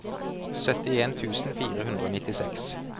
syttien tusen fire hundre og nittiseks